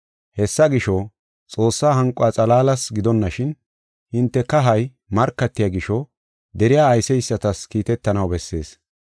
Hessa gisho, Xoossaa hanquwa xalaalas gidonashin, hinte kahay markatiya gisho deriya ayseysatas kiitetanaw bessees.